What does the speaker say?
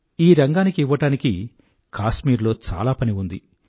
ఈ రంగానికి ఇవ్వడానికి కాశ్మీరులో చాలా పని ఉంది